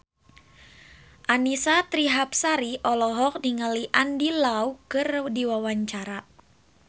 Annisa Trihapsari olohok ningali Andy Lau keur diwawancara